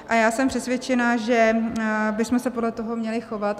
A já jsem přesvědčena, že bychom se podle toho měli chovat.